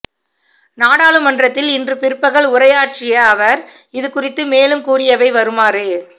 நாடாளுமன்றத்தில் இன்று பிற்பகல் உரையாற்றிய அவர் இது குறித்து மேலும் கூறியவை வருமாறு